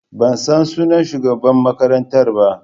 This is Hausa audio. Ban san sunan shugaban makarantar ba.